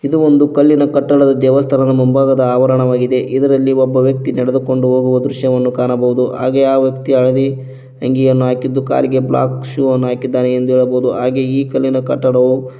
ಇದು ಒಂದು ಕಲ್ಲಿನ ಕಟ್ಟಡದ ದೇವಸ್ಥಾನದ ಮುಂಭಾಗದ ಆವರಣವಾಗಿದೆ ಇದರಲ್ಲಿ ಒಬ್ಬ ವ್ಯಕ್ತಿ ನಡೆದುಕೊಂಡು ಹೋಗುವ ದೃಶ್ಯ ಕಾಣಬಹುದು ಹಾಗೆಯೇ ಆ ವ್ಯಕ್ತಿ ಹಳದಿ ತಂಗಿಯನ್ನು ಹಾಕಿದ್ದು ಕಾಲಿಗೆ ಬ್ಲಾಕ್ ಶೂ ಹಾಕಿದ್ದಾನೆ ಎಂದು ಹೇಳಬಹುದು ಹಾಗೆ ಈ ಕಲ್ಲಿನ ಕಟ್ಟಡವು --